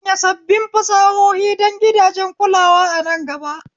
Sanya sabbin fasahohi don gidajen kulawa a nan gaba